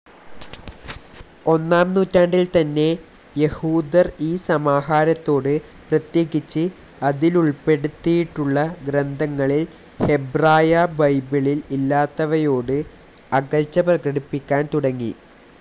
ഒന്നാം നൂറ്റാണ്ടിൽ തന്നെ യഹൂദർ ഈ സമാഹാരത്തോട്, പ്രത്യേകിച്ച്, അതിലുൾപ്പെടുത്തിയിട്ടുള്ള ഗ്രന്ഥങ്ങളിൽ ഹെബ്രായ ബൈബിളിൽ ഇല്ലാത്തവയോട്, അകൽച്ച പ്രകടിപ്പിക്കാൻ തുടങ്ങി.